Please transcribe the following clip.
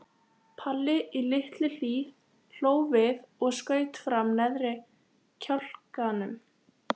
Palli í Litlu-Hlíð hló við og skaut fram neðri kjálkanum.